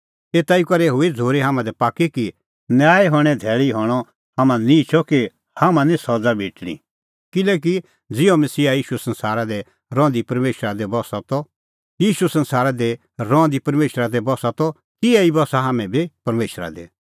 एता ई करै हुई झ़ूरी हाम्हां दी पाक्की कि न्याय हणें धैल़ी हणअ हाम्हां निहंचअ कि हाम्हां निं सज़ा भेटणीं किल्हैकि ज़िहअ मसीहा ईशू संसारा दी रहंदी परमेशरा दी बस्सा त तिहै ई बस्सा हाम्हैं बी परमेशरा दी